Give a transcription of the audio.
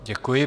Děkuji.